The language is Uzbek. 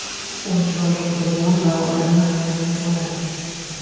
U chiroyli qurilgan va odamni hayratga soladi.